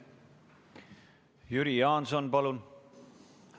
Jüri Jaanson, palun!